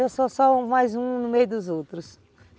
Eu sou só mais um no meio dos outros.